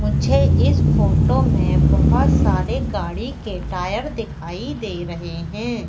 मुझे इस फोटो में बहोत सारे गाड़ी के टायर दिखाई दे रहे हैं।